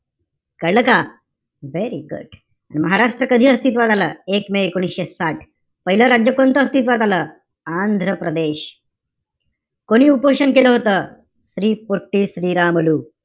कळलं का? Very good. Maharashtra कधी अस्तित्वात आला? एक मे एकोणीशे साठ. पाहिलं राज्य कोणतं अस्तित्वात आलं? आंध्रप्रदेश. कोणी उपोषण केलं होतं? श्री पुट्टी श्रीरामलू.